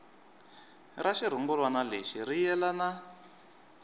ra xirungulwana lexi ri yelana